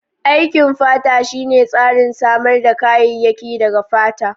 Aikin fata shine tsarin samar da kayayyaki daga fata.